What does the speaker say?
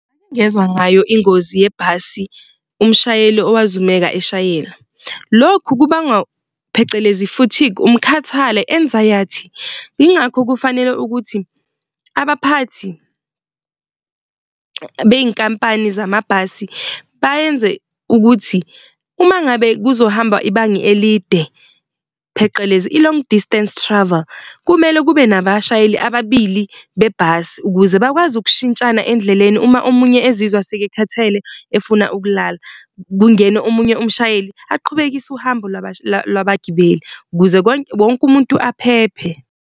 Ngezwa ngayo ingozi yebhasi, umshayeli owazumeka eshayela. Lokhu kubangwa phecelezi fatigue umkhathale, anxiety. Yingakho kufanele ukuthi abaphathi bey'nkampani zamabhasi bayenze ukuthi uma ngabe kuzohamba ibanga elide phecelezi i-long distance travel, kumele kube nabashayeli ababili bebhasi ukuze bakwazi ukushintshana endleleni uma omunye ezizwa sekekhathele efuna ukulala, kungene omunye umshayeli aqhubekise uhambo labagibeli ukuze konke wonke umuntu aphephe.